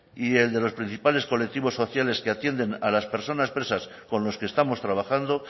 y el de los principales colectivos sociales que atienden a las personas presas con los que estamos trabajando